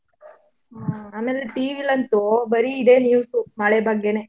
ಹಾ ಆಮೇಲೆ TV ಲಂತೂ ಬರೀ ಇದೇ news ಉ ಮಳೆ ಬಗ್ಗೆನೇ.